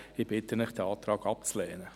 Ich bitte Sie, diesen Antrag abzulehnen.